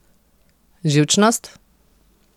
Živčnost?